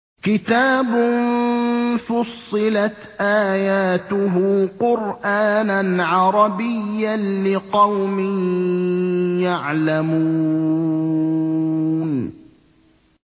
كِتَابٌ فُصِّلَتْ آيَاتُهُ قُرْآنًا عَرَبِيًّا لِّقَوْمٍ يَعْلَمُونَ